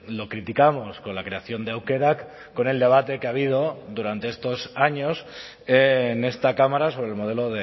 lo criticamos con la creación de aukerak con el debate que ha habido durante estos años en esta cámara sobre el modelo